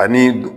Ani